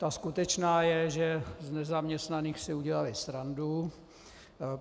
Ta skutečná je, že z nezaměstnaných si udělali srandu.